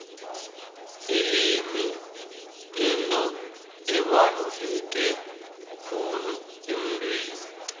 ilimi yinto ebaluleke khulu emuntwini